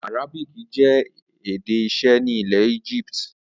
Arabic jẹ́ èdè iṣẹ́ nílẹ̀ Egypt.